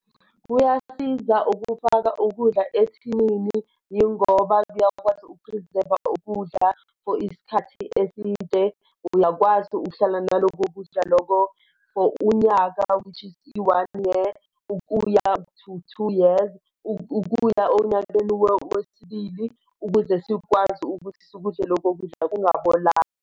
Kuyasiza ukufaka ukudla ethinini yingoba kuyakwazi ukuphrizeva ukudla for isikhathi eside. Uyakwazi ukuhlala naloko kudla loko for unyaka which is i-one year ukuya to two years ukuya onyakeni wesibili, ukuze sikwazi ukuthi sikudle loko kudla kungabolanga.